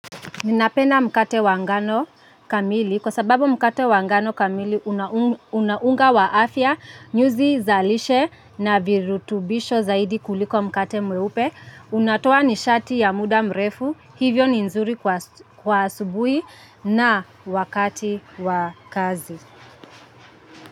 Ninapenda mkate wa ngano kamili kwa sababu mkate wa ngano kamili una unga wa afya nyuzi za lishe na virutubisho zaidi kuliko mkate mweupe. Unatoa nishati ya muda mrefu hivyo ni nzuri kwa asubuhi na wakati wa kazi.